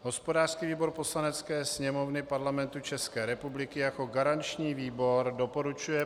Hospodářský výbor Poslanecké sněmovny Parlamentu České republiky jako garanční výbor doporučuje